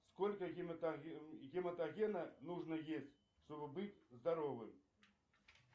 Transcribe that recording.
сколько гематогена нужно есть чтобы быть здоровым